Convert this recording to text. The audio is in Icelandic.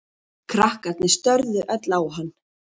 Krakkarnir störðu öll á hann.